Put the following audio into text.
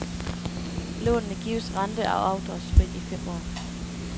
Lånene gives rente- og afdragsfrit i fem år.